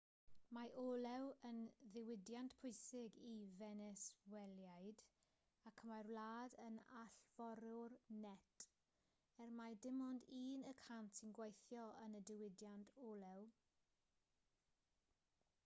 mae olew yn ddiwydiant pwysig i fenesweliaid ac mae'r wlad yn allforiwr net er mai dim ond un y cant sy'n gweithio yn y diwydiant olew